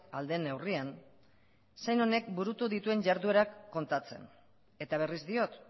ahal den neurrian zein honek burutu duten jarduerak kontatzen eta berriz diot